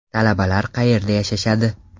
Talabalar qayerda yashashadi?